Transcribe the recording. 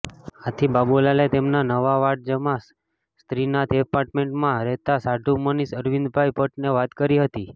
આથી બાબુલાલે તેમના નવા વાડજમાં સ્રીનાથ એપાર્ટમેન્ટમાં રહેતા સાઢુ મનીષ અરવિંદભાઈ ભટ્ટને વાત કરી હતી